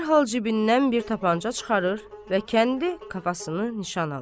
Dərhal cibindən bir tapança çıxarır və kəndi kafasını nişan alır.